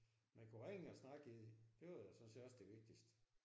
Man kunne ringe og snakke i det. Det var jo sådan set også det vigtigste